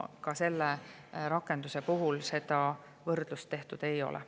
Ka selle rakenduse puhul seda võrdlust tehtud ei ole.